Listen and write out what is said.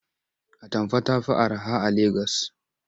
Atamfa ta fi araha a Legas.